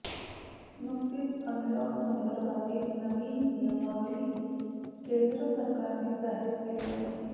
नुकतीच अनलॉक संदर्भातील नवी नियमावली केंद्र सरकारने जाहीर केली आहे